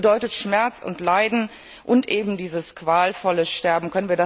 Das bedeutet Schmerz und Leiden und eben qualvolles Sterben.